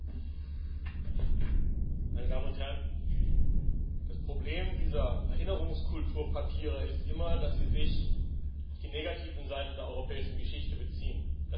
Frau Präsidentin, meine Damen und Herren! Das Problem dieser Erinnerungskulturpapiere ist immer, dass sie sich auf die negativen Seiten der europäischen Geschichte beziehen.